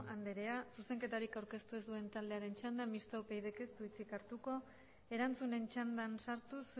andrea zuzenketarik aurkeztu ez duten taldeen txanda mistoa upydk ez du hitzik hartuko erantzunen txandan sartuz